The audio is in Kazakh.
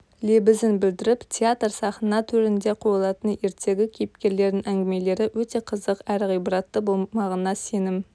лебізін білдіріп театр сахна төрінде қойылатын ертегі кейіпкерлерінің әңгімелері өте қызық әрі ғибратты болмағына сенім